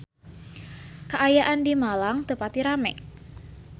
Kaayaan di Malang teu pati rame